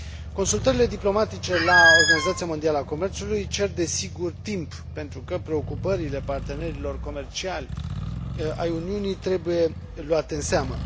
Consultările diplomatice la Organizația Mondială a Comerțului cer, desigur, timp, pentru că preocupările partenerilor comerciali ai Uniunii trebuie luate în seamă.